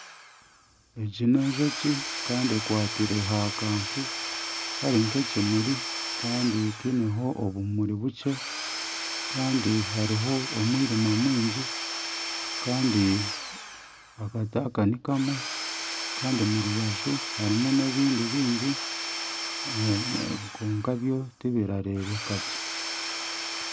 Egi n'enjoki kandi ekwatire aha kantu kari nka ekimuri kandi kariho obumuri bukye kandi hariho omwirima mwingi kandi akati aka nikamwe kandi omurubaju harimu ebindi bingi kwonka byo tibirareebeka gye.